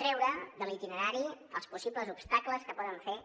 treure de l’itinerari els possibles obstacles que poden fer